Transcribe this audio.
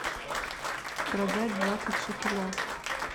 продать двадцать шекелях